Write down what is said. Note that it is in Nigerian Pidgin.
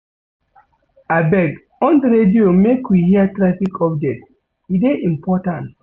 Abeg, on di radio make we hear traffic update, e dey important.